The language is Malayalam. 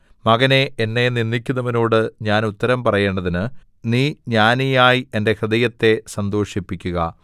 മകനേ എന്നെ നിന്ദിക്കുന്നവനോട് ഞാൻ ഉത്തരം പറയേണ്ടതിന് നീ ജ്ഞാനിയായി എന്റെ ഹൃദയത്തെ സന്തോഷിപ്പിക്കുക